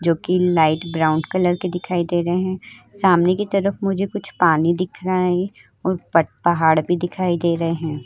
जो कि light brown colour के दिखाई दे रहे हैं। सामने की तरफ मुझे कुछ पानी दिख रहा है और प पहाड़ भी दिखाई दे रहे हैं।